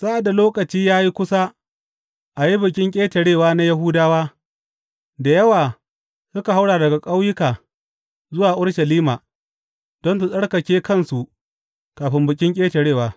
Sa’ad da lokaci ya yi kusa a yi Bikin Ƙetarewa na Yahudawa, da yawa suka haura daga ƙauyuka zuwa Urushalima, don su tsarkake kansu kafin Bikin Ƙetarewa.